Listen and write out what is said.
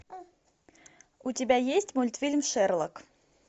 у тебя есть мультфильм шерлок